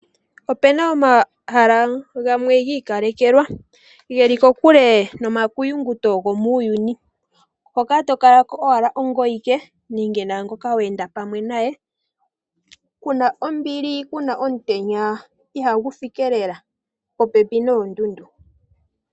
Ope na omahala gamwe gi ikalekelwa ge li kokule nomakuyunguto gomuuyuni. Hoka to kala kala ko owala ongoye awike nenge pamwe naangoka we enda pwame naye, ku na ombili ku na omutenya ihagu fike lela. Popepi noondundu.